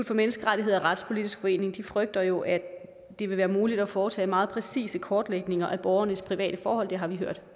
for menneskerettigheder og retspolitisk forening frygter jo at det vil være muligt at foretage meget præcise kortlægninger af borgernes private forhold det har vi hørt